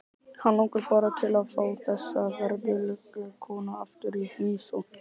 Hann langar bara til að fá þessa veðurglöggu konu aftur í heimsókn.